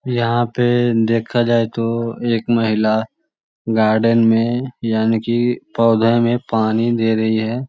यहाँ पे देखा जाये तो एक महिला गार्डन में यानी की पौधे में पानी दे रही है |